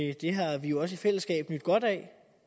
det har vi også i fællesskab nydt godt af